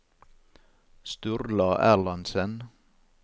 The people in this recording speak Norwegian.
Sturla Erlandsen